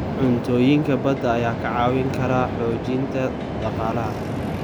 Cuntooyinka badda ayaa kaa caawin kara xoojinta dhaqaalaha.